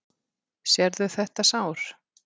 Sérðu þetta sár?